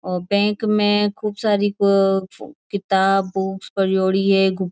ओ bank में खूब सारी किताब बुक्स परोड़ी है।